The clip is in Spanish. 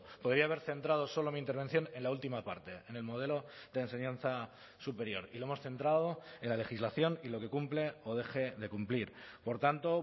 podría haber centrado solo mi intervención en la última parte en el modelo de enseñanza superior y lo hemos centrado en la legislación y lo que cumple o deje de cumplir por tanto